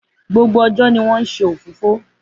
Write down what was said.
Gbogbo ọjọ́ ni wọ́n ń nse òfófó.